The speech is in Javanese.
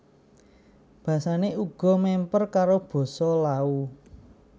Basané uga mèmper karo basa Lao